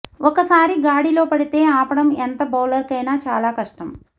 ఒకసారి గాడిలో పడితే ఆపడం ఎంత బౌలర్కైనా చాలా కష్టం